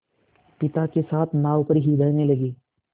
पिता के साथ नाव पर ही रहने लगी